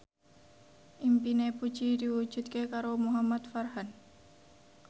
impine Puji diwujudke karo Muhamad Farhan